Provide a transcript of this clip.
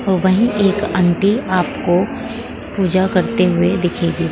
वही एक आँटी आपको पूजा करते हुए दिखेगी।